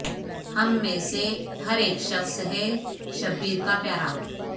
ہم میں سے ہر اک شخص ہے شبیر کا پیارا